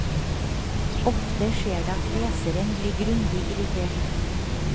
Ofte skjer det at leseren blir grundig irritert.